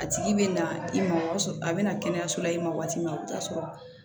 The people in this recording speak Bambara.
A tigi bɛ na i ma o y'a sɔrɔ a bɛna kɛnɛyaso la i ma waati min a bɛ t'a sɔrɔ